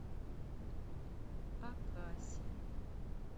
акаси